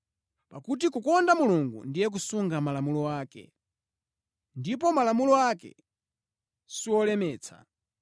Pakuti kukonda Mulungu ndiye kusunga malamulo ake. Ndipo malamulo ake siwolemetsa,